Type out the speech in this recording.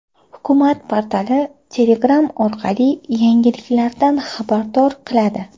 Hukumat portali Telegram orqali yangiliklardan xabardor qiladi .